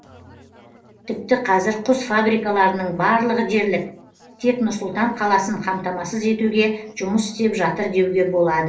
тіпті қазір құс фабрикаларының барлығы дерлік тек нұр сұлтан қаласын қамтамасыз етуге жұмыс істеп жатыр деуге болады